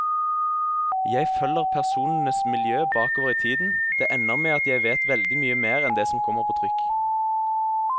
Jeg følger personenes miljø bakover i tiden, det ender med at jeg vet veldig mye mer enn det som kommer på trykk.